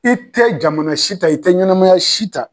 I tɛ jamana si ta i tɛ ɲɛnamaya si ta.